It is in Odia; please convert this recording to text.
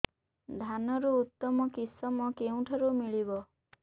ଧାନର ଉତ୍ତମ କିଶମ କେଉଁଠାରୁ ମିଳିବ